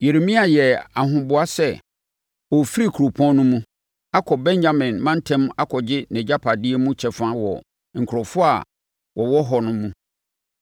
Yeremia yɛɛ ahoboa sɛ ɔrefiri kuropɔn no mu, akɔ Benyamin mantam akɔgye nʼagyapadeɛ mu kyɛfa wɔ nkurɔfoɔ a wɔwɔ hɔ no mu.